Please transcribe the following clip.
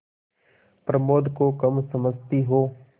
प्रमोद को कम समझती हो